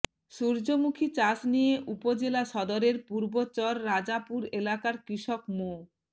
সূর্যমুখী চাষ নিয়ে উপজেলা সদরের পূর্ব চর রাজাপুর এলাকার কৃষক মো